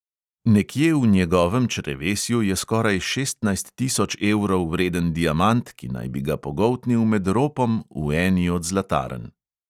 Nekje v njegovem črevesju je skoraj šestnajst tisoč evrov vreden diamant, ki naj bi ga pogoltnil med ropom v eni od zlatarn